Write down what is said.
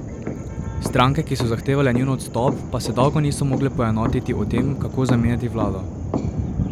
Stranke, ki so zahtevale njun odstop, pa se dolgo niso mogle poenotiti o tem, kako zamenjati vlado.